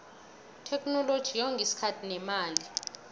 itheknoloji yonga isikhathi nemali